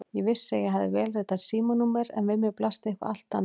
Ég vissi að ég hafði vélritað símanúmer en við mér blasti eitthvað allt annað.